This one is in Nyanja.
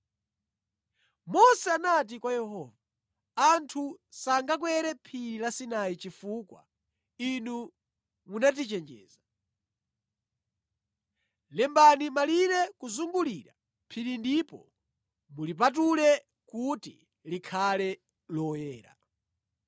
Mose anati kwa Yehova, “Anthu sangakwere phiri la Sinai chifukwa inu munatichenjeza. Lembani malire kuzungulira phiri ndipo mulipatule kuti likhale loyera.”